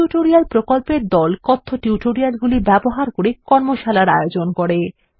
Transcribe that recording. কথ্য টিউটোরিয়াল প্রকল্প দল কথ্য টিউটোরিয়ালগুলি ব্যবহার করে কর্মশালার আয়োজন করে